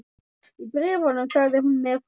Í bréfunum sagði hún mér frá